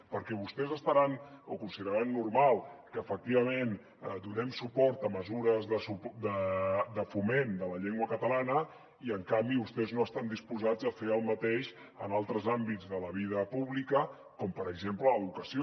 perquè vostès consideraran normal que efectivament donem suport a mesures de foment de la llengua catalana i en canvi vostès no estan disposats a fer el mateix en altres àmbits de la vida pública com per exemple l’educació